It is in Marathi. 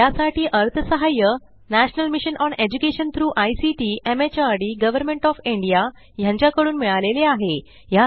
यासाठी अर्थसहाय्य national mission on education through ICT MHRD government of India यांच्याकडून मिळालेले आहे